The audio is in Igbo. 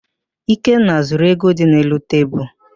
Ikenna zuru ego dị n'elu tebulu.